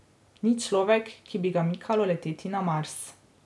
Ni človek, ki bi ga mikalo leteti na Mars.